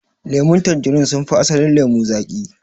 Lemun tanjarin sun fi asalin lemo zaƙi.